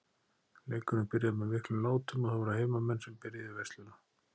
Leikurinn byrjaði með miklum látum og það voru heimamenn sem byrjuðu veisluna.